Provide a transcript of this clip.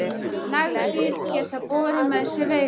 Nagdýr geta borið með sér veiruna.